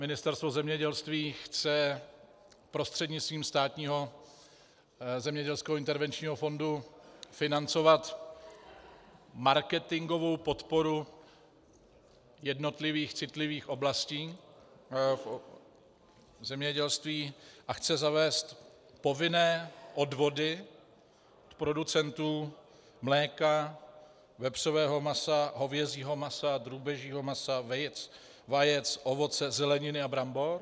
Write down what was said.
Ministerstvo zemědělství chce prostřednictvím Státního zemědělského intervenčního fondu financovat marketingovou podporu jednotlivých citlivých oblastí v zemědělství a chce zavést povinné odvody producentů mléka, vepřového masa, hovězího masa, drůbežího masa, vajec, ovoce, zeleniny a brambor.